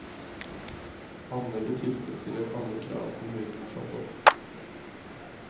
Anlegget tilfredsstiller alle krav kommunen har satt opp.